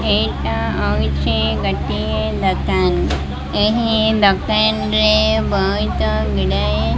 ଏଇଟା ହଉଛି ଗୋଟିଏ ଦୋକାନ ଏହି ଦୋକାନରେ ବହୁତ ଗୁଡାଏ --